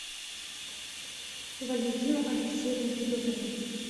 валентину алексеевну федотову